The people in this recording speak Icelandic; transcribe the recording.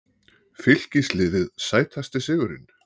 Fylkisliðið Sætasti sigurinn?